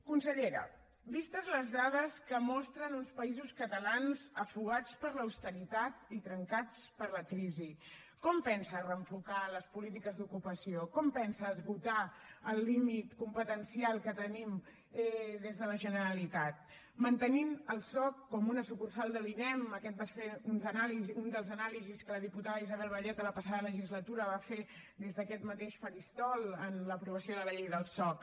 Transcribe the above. consellera vistes les dades que mostren uns països catalans ofegats per l’austeritat i trencats per la crisi com pensa reenfocar les polítiques d’ocupació com pensa esgotar el límit competencial que tenim des de la generalitat mantenint el soc com a una sucursal de l’inem aquesta va ser una de les anàlisis que la diputada isabel vallet a la passada legislatura va fer des d’aquest mateix faristol en l’aprovació de la llei del soc